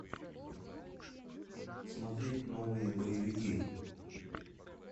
смотреть новые боевики